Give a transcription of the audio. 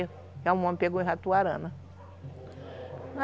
o homem que pegou ratoarana.